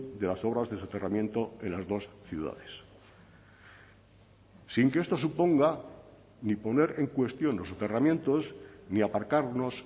de las obras de soterramiento en las dos ciudades sin que esto suponga ni poner en cuestión los soterramientos ni aparcarnos